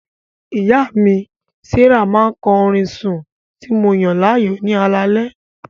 Ìyá mi, Sarah, máa ń kọ orin sùn tí mo yàn láàyò ní alaalẹ́.